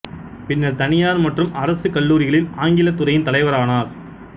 பின்னர் தனியார் மற்றும் அரசு கல்லூரிகளில் ஆங்கிலத் துறையின் தலைவரானார்